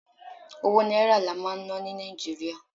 owó náírà la ó ma ná ni Naijiria